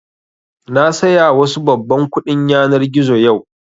Na saya wasu babban kuɗin yanar gizo yau